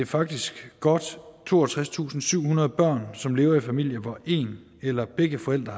faktisk godt toogtredstusinde og syvhundrede børn som levede i familier hvor en eller begge forældre